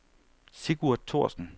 Sigurd Thorsen